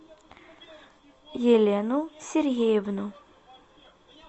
елену сергеевну